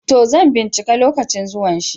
To, zan ɓincika lokacin zuwan shi.